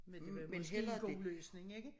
Men det var måske en god løsning ikke